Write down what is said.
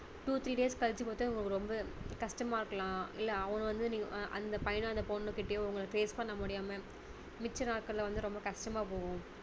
two three days கழிச்சி பார்த்தா உங்களுக்கு ரொம்ப கஷ்டமா இருக்கலாம் இல்ல அவங்க வந்து நீங்க அந்த பையனோ அந்த பொண்ணு கிட்டயோ உங்களுக்கு face பண்ண முடியாம மிச்ச நாட்கள் வந்து ரொம்ப கஷ்டமா போகும்